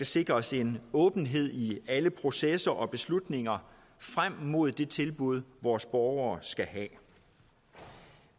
sikres en åbenhed i alle processer og beslutninger frem mod det tilbud vores borgere skal have